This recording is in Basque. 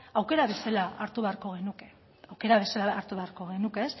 aukera bezala hartu beharko genuke aukera bezala hartu beharko genuke